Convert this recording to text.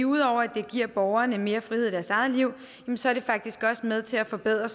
ud over at det giver borgerne mere frihed i deres eget liv så er det faktisk også med til at forbedre